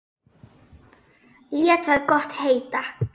Lét það gott heita.